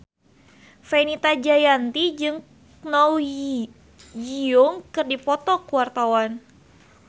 Fenita Jayanti jeung Kwon Ji Yong keur dipoto ku wartawan